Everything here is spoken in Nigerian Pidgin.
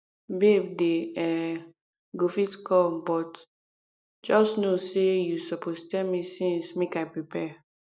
babe dey um go fit come but just no say you suppose tell me since make i prepare